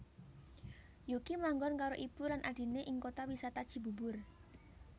Yuki manggon karo ibu lan adhiné ing Kota Wisata Cibubur